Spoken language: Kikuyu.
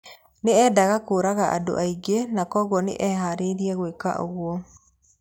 Nĩ eendaga kũũraga andũ aingĩ na kwoguo nĩ eeharĩirie gwĩka ũguo.